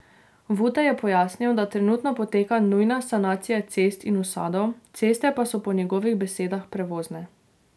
Vute je pojasnil, da trenutno poteka nujna sanacija cest in usadov, ceste pa so po njegovih besedah prevozne.